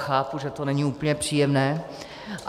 Chápu, že to není úplně příjemné.